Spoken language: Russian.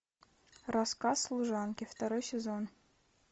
рассказ служанки второй сезон